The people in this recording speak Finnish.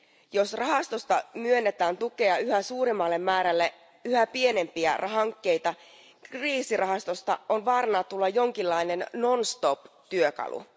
Jos rahastosta myönnetään tukea yhä suuremmalle määrälle yhä pienempiä hankkeita, kriisirahastosta on vaarana tulla jonkinlainen non stop työkalu.